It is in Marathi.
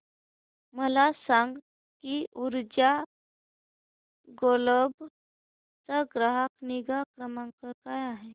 मला सांग की ऊर्जा ग्लोबल चा ग्राहक निगा क्रमांक काय आहे